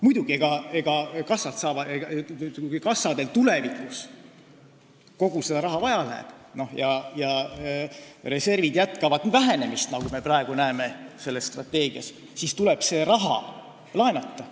Muidugi, kui kassadel tulevikus kogu seda raha vaja läheb ja reservid jätkavad vähenemist, nagu me praegu selles strateegias näeme, siis tuleb see raha laenata.